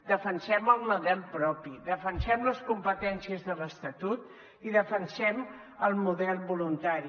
defensem el model propi defensem les competències de l’estatut i defensem el model voluntari